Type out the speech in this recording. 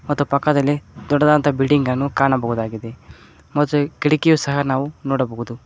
ಮತ್ತು ಪಕ್ಕದಲ್ಲಿ ದೊಡ್ಡದಾದಂತ ಬಿಲ್ಡಿಂಗ್ ಅನ್ನು ಕಾಣಬಹುದಾಗಿದೆ ಮತ್ತು ಕಿಟಕಿ ಸಹ ನಾವು ನೋಡಬಹುದು.